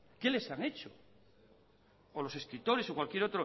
qué les han hecho o los escritores o cualquier